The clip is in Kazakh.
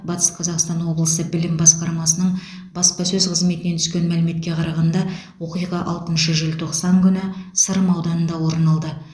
батыс қазақстан облысы білім басқармасының баспасөз қызметінен түскен мәліметке қарағанда оқиға алтыншы желтоқсан күні сырым ауданында орын алды